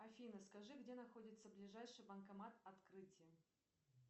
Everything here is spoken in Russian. афина скажи где находится ближайший банкомат открытие